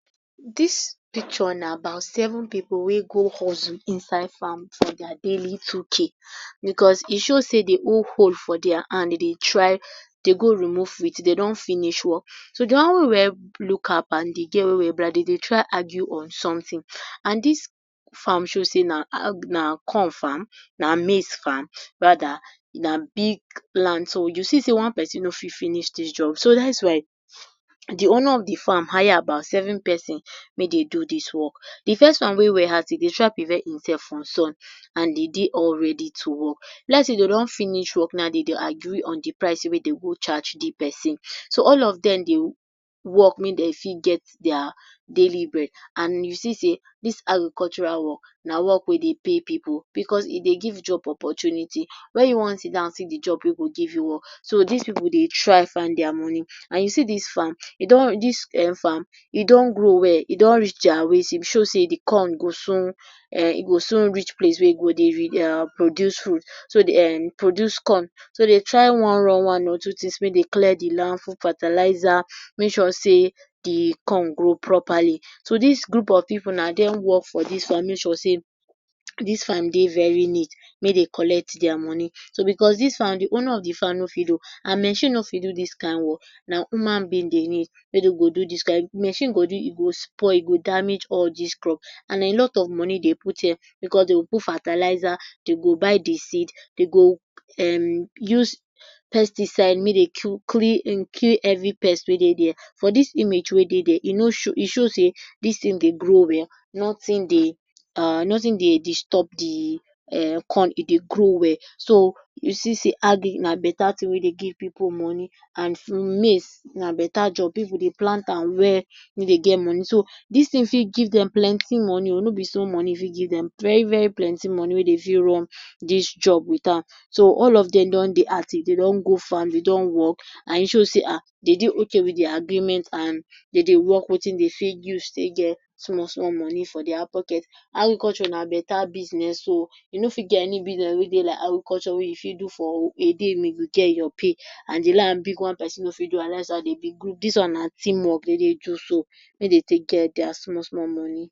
Dis picture na about seven pipu wey go hustle inside farm for their daily two k because e show sey dey hold hoe for their hand dem dey try to go remove weeds dem don finish work. So, de one wey wear blue cap and de girl wey wear black dem dey try argue on something and dis farm show sey na corn farm, na maize farm rather na big plant so, you see sey one pesin no fit finish dis job. So dat is why de owner of de farm hire about seven pesin make dey do dis work. De first one wey wear hat e dey try prevent im sef from sun and dem dey all ready to work. E be like sey now dey don finish work now, dem dey agree on de price wey dey go charge de pesin. So, all of dem dey work make dem fit get their daily bread and you see sey dis agricultural work na work wey dey pay pipu because e dey give job opportunity. Where you wan sidon see de job wey go give you work. So, dis pipu dey try find their Moni. And you see dis farm e don dis farm e don grow well, e don reach their waist, e be show sey de corn go soon place wey e go dey reproduce food so de erm produce corn. So, dem dey try run one or two things make dem clear de land, put fertilizer, make sure sey de corn grow properly. So, dis group of pipu na dem work for dis farm make sure sey dis farm dey very neat make dem collect their Moni. So, because dis farm de owner of dis farm no fit do, and machine no fit do dis kind work na human being dey need wey dey do, machine go do, e spoil, e go damage all des crops. And na a lot of Moni dey put here because dey go put fertilizer, dey go buy de seed, dey go um use pesticide make dem kill every pest wey dey there. For dis image wey dey there e no, e show sey dis thing dey grow well, nothing dey um, nothing dey disturb de um corn, e dey grow well. So, you see sey agric na beta thing wey dey give pipu Moni and maize na beta job if we dey plant am well, pipu dey get Moni. So, dis thing for give dem plenty Moni o, no be small Moni e fit give dem, very-very plenty Moni wey dey fir run dis job with am. So, all of dem dey don dey active, dey don go farm, dem don work, and e show sey ha dem don dey okay with their agreement and dem dey work wetin dey fit use get small-small Moni for their pocket. Agriculture na beta business o, you no fit any business wey dey like agriculture wey you fit do for a day make you go get your pay. One pesin no fit do am daz why dey be group. Dis one na teamwork dem dey do so make dey take get their small-small Moni.